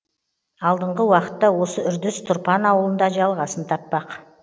алдыңғы уақытта осы үрдіс тұрпан ауылында жалғасын таппақ